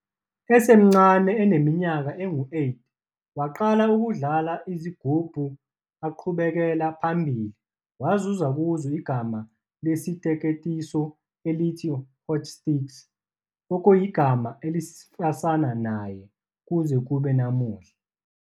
Esemncane eneminyaka engu-8 waqala ukudlala izigubhu aqhubekela phambili wazuza kuzo igama lesiteketiso elithi "Hotstix" - okuyigama elisafana naye kuze kube namuhla.